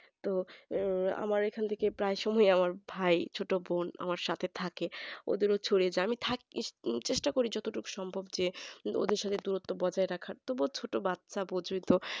তো আমার এখান থেকে সবই আমার ভাই ছোট বোন আমার সাথে থাকে ওদেরও ছড়িয়ে যায় আমি থাকতে চেষ্টা করি যত দূর সম্পর্কে ওদের সঙ্গে দূরত্ব বজায় রাখা তবুও ছোট বাচ্চা যেহেতু